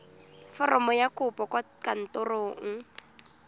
foromo ya kopo kwa kantorong